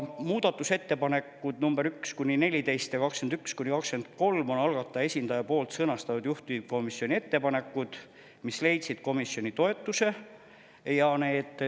Muudatusettepanekud nr 1–14 ja 21–23 on algataja esindaja sõnastatud juhtivkomisjoni ettepanekud, mis leidsid komisjoni toetuse.